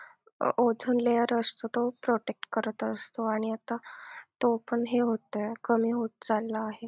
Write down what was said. ozone layer असतो तो protect करत असतो आणि आता तो पण हे होतंय. कमी होत चालला आहे.